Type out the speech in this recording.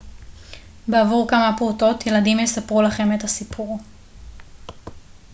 בעבור כמה פרוטות ילדים יספרו לכם את הסיפור